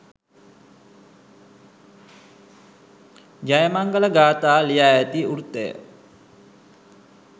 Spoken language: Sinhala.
ජයමංගල ගාථා ලියා ඇති වෘත්තය